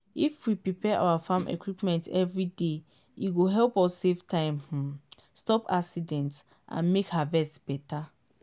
if we prepare our farm equipment every day e go help save time um stop accident and make harvest better.